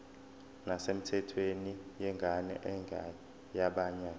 nesemthethweni yengane engeyabanye